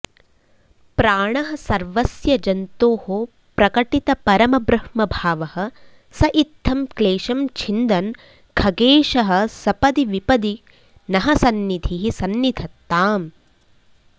प्राणः सर्वस्य जन्तोः प्रकटितपरमब्रह्मभावः स इत्थं क्लेशं छिन्दन् खगेशः सपदि विपदि नः सन्निधिः सन्निधत्ताम्